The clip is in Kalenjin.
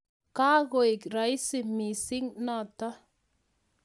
Kakooeek raisi mising noto